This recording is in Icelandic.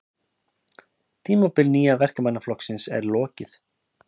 Tímabili Nýja Verkamannaflokksins er lokið